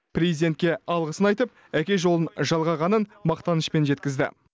президентке алғысын айтып әке жолын жалғағанын мақтанышпен жеткізді